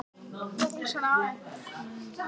En hversu mörg börn nota þessi lyf?